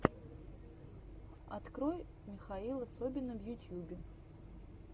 открой михаила собина в ютьюбе